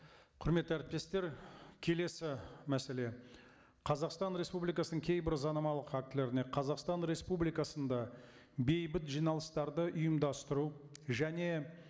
құрметті әріптестер келесі мәселе қазақстан республикасының кейбір заңнамалық актілеріне қазақстан республикасында бейбіт жиналыстарды ұйымдастыру және